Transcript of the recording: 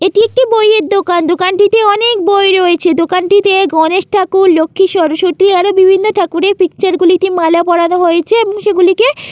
এটি একটি বই এর দোকান। দোকানটিতে অনেক বই রয়েছে দোকানটিতে গনেশ ঠাকুর লক্ষী সরস্বতী আরো বিভিন্ন ঠাকুরের পিকচার গুলিতে মালা পরানো হয়েছে এবং সেগুলিকে --